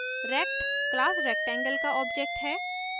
rect class rectangle का object है